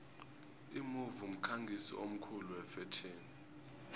imove mkhangisi omkhulu wefetjheni